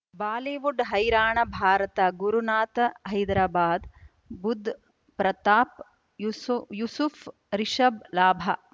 Bollywood ಹೈರಾಣ ಭಾರತ ಗುರುನಾಥ ಹೈದರಾಬಾದ್ ಬುಧ್ ಪ್ರತಾಪ್ ಯೂಸುಫ್ ರಿಷಬ್ ಲಾಭ